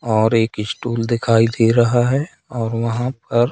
और एक स्टुल दिखाई दे रहा है और वहां पर--